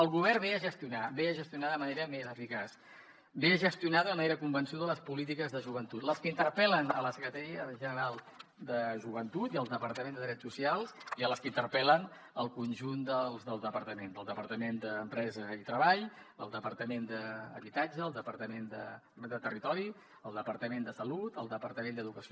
el govern ve a gestionar ve a gestionar de manera més eficaç ve a gestionar d’una manera convençuda les polítiques de joventut les que interpel·len la secretaria general de joventut i el departament de drets socials i les que interpel·len el conjunt dels departaments el departament d’empresa i treball el departament d’ha bitatge el departament de territori el departament de salut el departament d’educació